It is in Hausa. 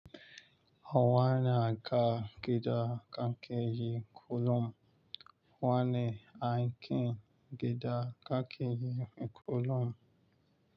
Wani aka gida kakeyi kullum. Wani aikin gida kakeyi kullum.